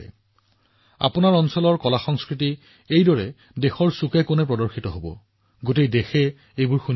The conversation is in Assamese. ই আপোনাৰ এলেকাৰ কলা আৰু সংস্কৃতিকো দেশৰ প্ৰতিটো কোণলৈ লৈ যাব আপোনাৰ কাহিনী সমগ্ৰ দেশে শুনিব